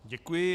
Děkuji.